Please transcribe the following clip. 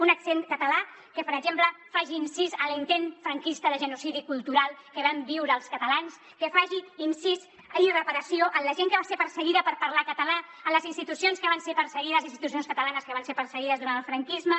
un accent català que per exemple faci incís en l’intent franquista de genocidi cultural que vam viure els catalans que faci incís i reparació en la gent que va ser perseguida per parlar català en les institucions catalanes que van ser perseguides durant el franquisme